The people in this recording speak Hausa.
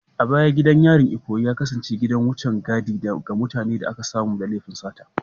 A baya gidan yarin Ikoyi ya kasance gidan wucen gadi ga mutanen da aka samu da laifin sata